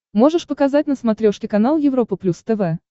можешь показать на смотрешке канал европа плюс тв